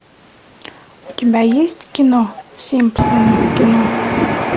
у тебя есть кино симпсоны в кино